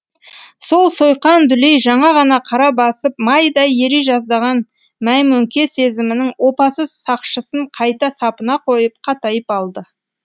сол сойқан дүлей жаңа ғана қара басып майдай ери жаздаған мәймөңке сезімінің опасыз сақшысын қайта сапына қойып қатайып алды